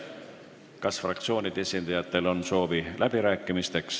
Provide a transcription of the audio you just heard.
Kas fraktsioonide esindajatel on soovi läbi rääkida?